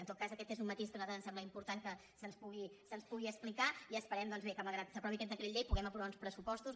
en tot cas aquest és un matís que a nosaltres ens sembla important que se’ns pugui explicar i esperem doncs bé que malgrat que s’aprovi aquest decret llei puguem aprovar uns pressupostos